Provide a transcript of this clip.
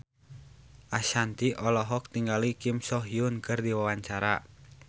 Ashanti olohok ningali Kim So Hyun keur diwawancara